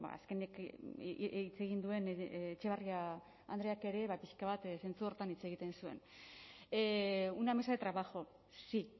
azkenik hitz egin duen etxebarria andreak ere pixka bat zentzu horretan hitz egiten zuen una mesa de trabajo sí